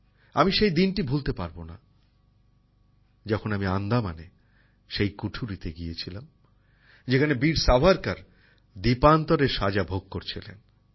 আমি সেই দিনটা ভুলতে পারব না যখন আমি আন্দামানে সেই কুঠুরিতে গিয়েছিলাম যেখানে বীর সাভারকর দ্বীপান্তরের সাজা ভোগ করছিলেন